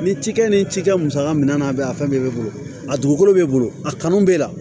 Ni cikɛ ni cikɛ musaka mina n'a bɛ a fɛn bɛɛ bɛ bolo a dugukolo bɛ bolo a kanu b'e la